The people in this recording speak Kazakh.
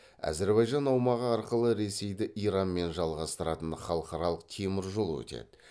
әзірбайжан аумағы арқылы ресейді иранмен жалғастыратын халықаралық теміржол өтеді